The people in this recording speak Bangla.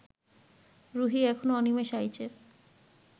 রুহী এখন অনিমেষ আইচের